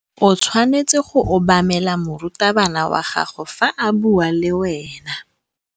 O tshwanetse go obamela morutabana wa gago fa a bua le wena.